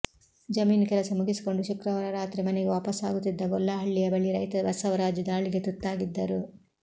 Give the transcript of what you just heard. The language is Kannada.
ಜಮೀನು ಕೆಲಸ ಮುಗಿಸಿಕೊಂಡು ಶುಕ್ರವಾರ ರಾತ್ರಿ ಮನೆಗೆ ವಾಪಸಾಗುತ್ತಿದ್ದ ಗೊಲ್ಲಹಳ್ಳಿಯ ಬಳಿ ರೈತ ಬಸವರಾಜು ದಾಳಿಗೆ ತುತ್ತಾಗಿದ್ದರು